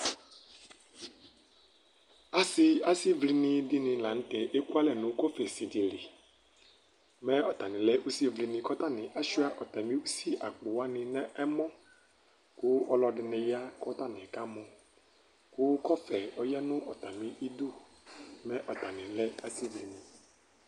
Asi asivlini dini lanʋtɛ ekʋalɛ nʋ kɔfɛsi dili Mɛ ɔtanilɛ asivlini kʋ ɔtani asuia ɔtami ʋsi akpo nʋ ɛmɔ kʋ ɔlɔdini ya kʋ ɔtani kʋ kɔfɛ ɔyanʋ ɔtemi idʋ mɛ ɔtani lɛ ʋsivlini